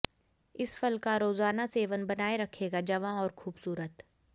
इस फल का रोजाना सेवन बनाए रखेगा जवां और खूबसूरत